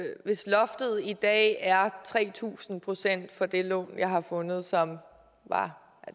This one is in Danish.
hvis loftet i dag er tre tusind procent for det lån som jeg har fundet og som